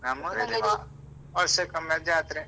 ನಮ್ಮೂರಲ್ಲಿ ವ~ ವರ್ಷಕೊಮ್ಮೆ ಜಾತ್ರೆ.